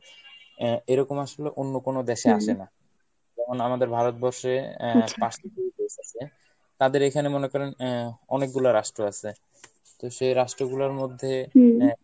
আহ এরকম আসলে অন্য কনো দেশে আসে না। যেমন আমাদের ভারতবর্ষে আহ পাঁচটি আছে, তাদের এইখানে মনে করেন আহ অনেকগুলা রাষ্ট্র আছে তো সেই রাষ্ট্রগুলার মধ্যে